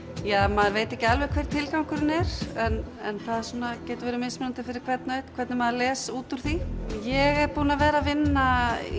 maður veit ekki alveg hver tilgangurinn er en það getur verið mismunandi fyrir hvern einn hvernig maður les út úr því ég er búin að vera að vinna í